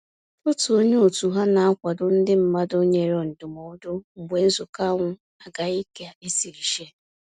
Otu onye òtù ha na-akwado ndị mmadụ nyere ndụmọdụ mgbe nzukọ ahụ agaghị ka esiri che